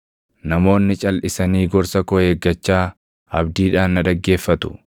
“Namoonni calʼisanii gorsa koo eeggachaa abdiidhaan na dhaggeeffatu.